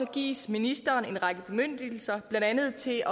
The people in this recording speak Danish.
gives ministeren en række bemyndigelser blandt andet til